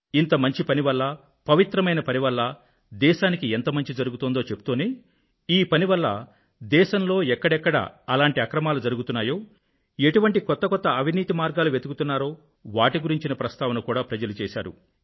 ఇంతమంచి పని వల్ల పవిత్రమైన పని వల్ల దేశానికి ఎంత మంచి జరుగుతోందో చెప్తూనే ఈ పని వల్ల దేశంలో ఎక్కడెక్కడ ఎలాంటి అక్రమాలు జరుగుతున్నాయో ఎటువంటి కొత్త కొత్త అవినీతి మార్గాలు వెతుకుతున్నారో వాటి గురించిన ప్రస్తావన కూడా ప్రజలు చేశారు